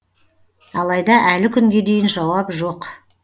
алайда әлі күнге дейін жауап жоқ